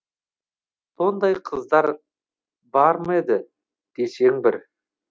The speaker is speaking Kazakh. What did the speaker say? сондай қыздар бар ма еді десең бір